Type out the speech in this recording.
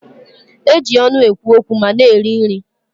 E ji ọnụ ekwu okwu ma na-eri nri